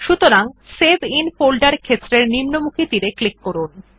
সুতরাং save in ফোল্ডের ক্ষেত্রের নিম্নমুখী তীর এ ক্লিক করুন